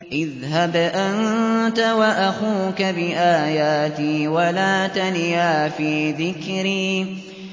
اذْهَبْ أَنتَ وَأَخُوكَ بِآيَاتِي وَلَا تَنِيَا فِي ذِكْرِي